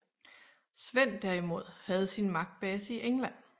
Svend derimod havde sin magtbase i England